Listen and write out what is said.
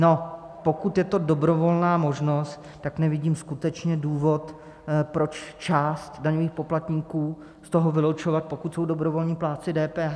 No, pokud je to dobrovolná možnost, tak nevidím skutečně důvod, proč část daňových poplatníků z toho vylučovat, pokud jsou dobrovolní plátci DPH.